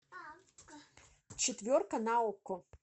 четверка на окко